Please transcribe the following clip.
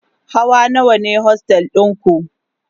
Hawa nawa ne ostel ɗinku?